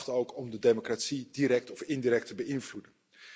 De macht ook om de democratie, direct of indirect, te beïnvloeden.